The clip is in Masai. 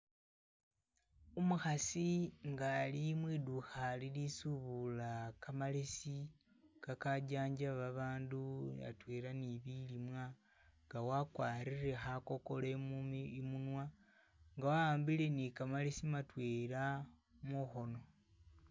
Umukhaasi nga ali mwidukha lili subula kamalesi kakajanjaba babandu atwela ni bilimwa nga wakwarire khakokolo i'munwa nga wa'ambile ni kamalesi matwela mukhono.